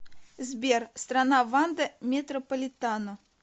сбер страна ванда метрополитано